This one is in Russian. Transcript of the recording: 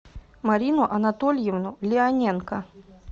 марину анатольевну леоненко